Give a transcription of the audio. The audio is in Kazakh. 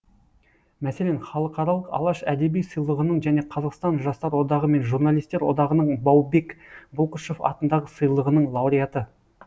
мәселен халықаралық алаш әдеби сыйлығының және қазақстан жастар одағы мен журналистер одағының баубек бұлқышев атындағы сыйлығының лауреаты